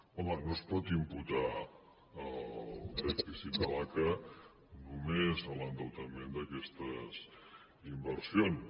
home no es pot imputar el dèficit de l’aca només a l’endeutament d’aquestes inversions